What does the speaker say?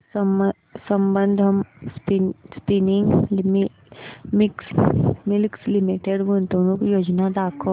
Sambandam spinning mills limited गुंतवणूक योजना दाखव